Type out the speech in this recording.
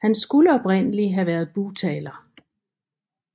Han skulle oprindeligt have været bugtaler